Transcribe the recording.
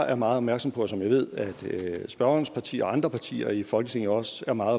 er meget opmærksom på og som jeg ved at spørgerens parti og andre partier i folketinget også er meget